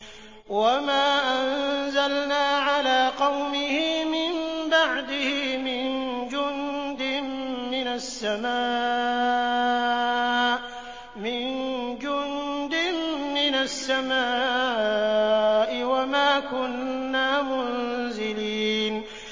۞ وَمَا أَنزَلْنَا عَلَىٰ قَوْمِهِ مِن بَعْدِهِ مِن جُندٍ مِّنَ السَّمَاءِ وَمَا كُنَّا مُنزِلِينَ